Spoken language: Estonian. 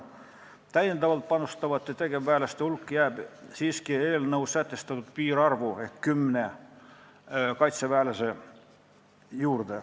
Täiendavalt panustavate tegevväelaste hulk ei ületa siiski eelnõus sätestatud piirarvu ehk kümmet kaitseväelast.